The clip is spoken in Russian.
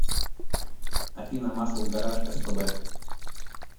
афина масл гараж эс пэ бэ